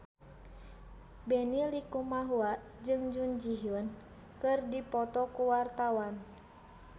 Benny Likumahua jeung Jun Ji Hyun keur dipoto ku wartawan